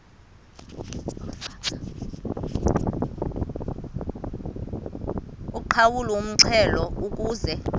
uqhawulwe umxhelo ukuze